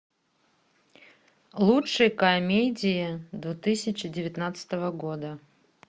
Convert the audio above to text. лучшие комедии две тысячи девятнадцатого года